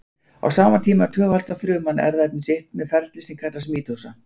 Á sama tíma tvöfaldar fruman erfðaefni sitt með ferli sem að kallast mítósa.